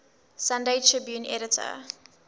sunday tribune editor